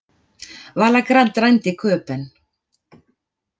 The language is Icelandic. Vala Grand rænd í Köben